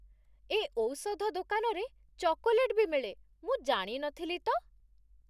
ଏ ଔଷଧ ଦୋକାନରେ ଚକୋଲେଟ୍ ବି ମିଳେ, ମୁଁ ଜାଣି ନଥିଲି ତ!